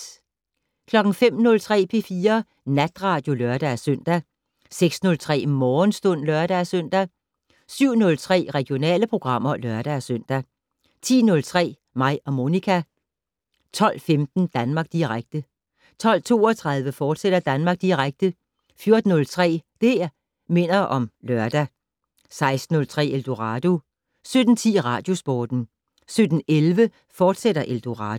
05:03: P4 Natradio (lør-søn) 06:03: Morgenstund (lør-søn) 07:03: Regionale programmer (lør-søn) 10:03: Mig og Monica 12:15: Danmark Direkte 12:32: Danmark Direkte, fortsat 14:03: Det' Minder om Lørdag 16:03: Eldorado 17:10: Radiosporten 17:11: Eldorado, fortsat